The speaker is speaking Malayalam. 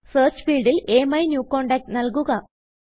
സെർച്ച് ഫീൽഡിൽ AMyNewContactനല്കുക